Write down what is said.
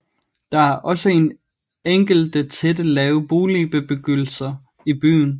Der er også enkelte tætte lave boligbebyggelser i byen